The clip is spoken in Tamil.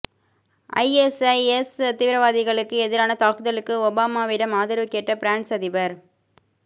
ஐஎஸ்ஐஎஸ் தீவிரவாதிகளுக்கு எதிரான தாக்குதலுக்கு ஒபாமாவிடம் ஆதரவு கேட்ட பிரான்ஸ் அதிபர்